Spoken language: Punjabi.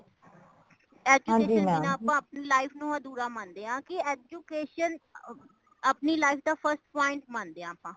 ਹਾਂਜੀ mam ,education ਬਿਨਾ ਆਪਾ ਆਪਣੀ life ਨੂੰ ਅਧੂਰਾ ਮੰਦੇ ਹਾਂ। ਕੀ education ਆਪਣੀ life ਦਾ first point ਮੰਦੇ ਹਾਂ